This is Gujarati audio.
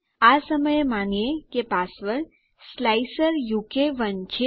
આ સમયે માનીએ કે પાસવર્ડ સ્લાઇસર ઉ કે 1 છે